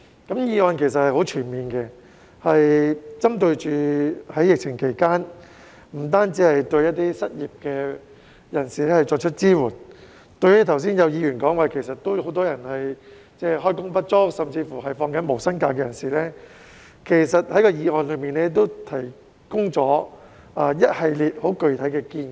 這項議案其實很全面，不單針對在疫情期間失業的人士，為他們提供支援，正如有議員剛才提到，有很多人開工不足甚至正在放取無薪假，這項議案為他們提出了一系列十分具體的建議。